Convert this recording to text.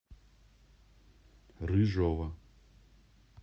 рыжова